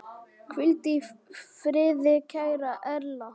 Hvíldu í friði kæra Erla.